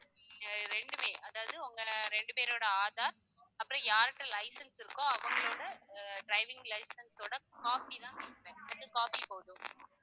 ஆஹ் ரெண்டுமே அதாவது உங்க ரெண்டு பேரோட aadhar அப்புறம் யாருக்கு licence இருக்கோ அவங்களோட அஹ் driving licence ஓட copy தான் கேப்பேன் ரெண்டு copy போதும்